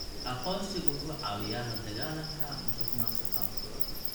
Aqoonsigu wuxuu caawiyaa la dagaalanka musuqmaasuqa.